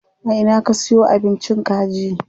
A ina ka siyo abincin kaji?